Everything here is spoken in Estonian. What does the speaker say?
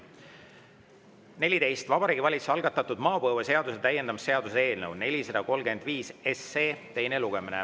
14: Vabariigi Valitsuse algatatud maapõueseaduse täiendamise seaduse eelnõu 435 teine lugemine.